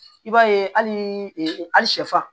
I b'a ye hali shɛfan